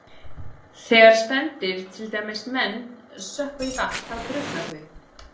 Þegar spendýr, til dæmis menn, sökkva í vatn þá drukkna þau.